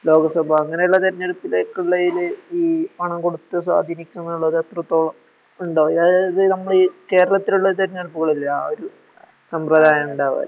ലോകസഭ അങ്ങനെയുള്ളതെരഞ്ഞെടുപ്പിലേക്കുളയില് ഈ പണംകൊടുത്ത് സ്വതീനിക്കുന്നുള്ളതെന്നെത്രത്തോളം ഉണ്ടാ അയാആയത്നമ്മളീ കേരളത്തിലുള്ളതെരഞ്ഞെടുപ്പുകളില്ലേ ആ ഒര് സമൃതായം ഉണ്ടാ